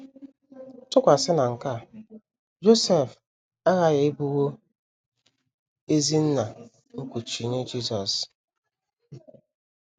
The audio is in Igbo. Tụkwasị na nke a, Josef aghaghị ịbụwo ezi nna nkuchi nye Jisọs.